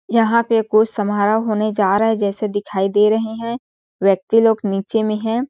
यहाँ पे कुछ समारोह होने जा रहे है जैसे दिखाई दे रहे है व्यक्ति लोग नीचे में है।